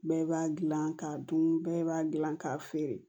Bɛɛ b'a dilan k'a dun bɛɛ b'a dilan k'a feere